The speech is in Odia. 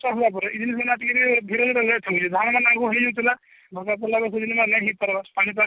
ହେଲା ପରେ ଟିକେ ଟିକେ ହଇରେ late ହଉଛି ଧାନ ମାନେ ଆଗରୁ ହେଇ ଯାଉଥିଲା ନା ହେଇପାରିବାର ପାନି ପାଗ